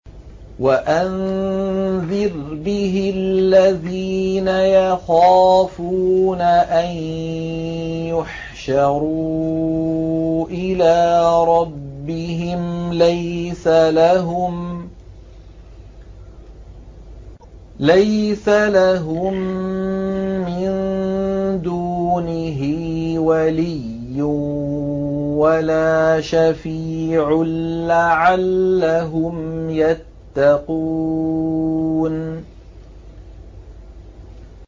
وَأَنذِرْ بِهِ الَّذِينَ يَخَافُونَ أَن يُحْشَرُوا إِلَىٰ رَبِّهِمْ ۙ لَيْسَ لَهُم مِّن دُونِهِ وَلِيٌّ وَلَا شَفِيعٌ لَّعَلَّهُمْ يَتَّقُونَ